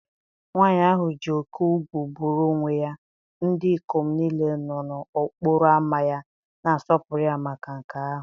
Nwanyị ahụ ji oke ugwu buru onwe ya, ndị ikom niile nọ n'okporo ámá ya na-asọpụrụ ya maka nke ahụ.